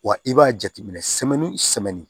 Wa i b'a jateminɛ